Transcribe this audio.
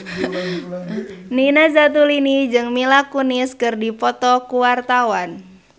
Nina Zatulini jeung Mila Kunis keur dipoto ku wartawan